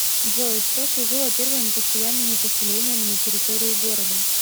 джой что служило первыми постоянными поселениями на территории города